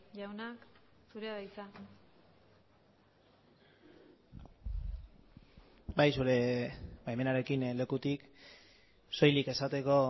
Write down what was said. jauna zurea da hitza bai zure baimenarekin lekutik soilik esateko